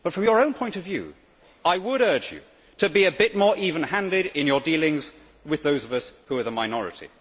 But, from your own point of view, I would urge you to be a bit more even handed in your dealings with those of us who are the minority.